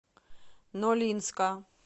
нолинска